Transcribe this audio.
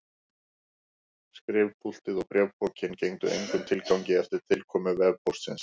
Skrifpúltið og bréfpokinn gengdu engum tilgangi eftir tilkomu vefpóstsins.